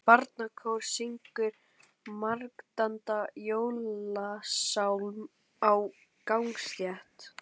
Barnakór syngur margraddaðan jólasálm á gangstétt.